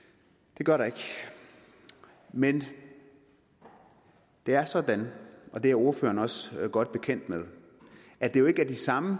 det gør der ikke men det er sådan og det er ordføreren også godt bekendt med at det jo ikke er de samme